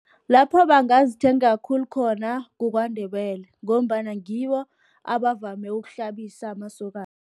Lapho bangazithenga khulu khona, kuKwaNdebele, ngombana ngibo abavame ukuhlambisa amasokana.